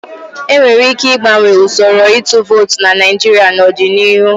E nwere ike ịgbanwe usoro ịtụ vootu na Naijiria n'ọdịnihu.